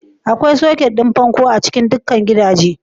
Akwai soket ɗin bango a cikin dukkan gidajen.